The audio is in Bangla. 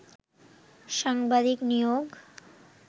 সাংবাদিক নিয়োগ